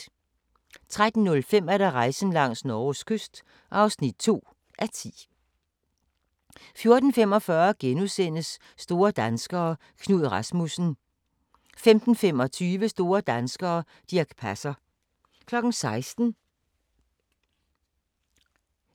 13:05: Rejsen langs Norges kyst (2:10) 14:45: Store danskere - Knud Rasmussen * 15:25: Store danskere - Dirch Passer 16:00: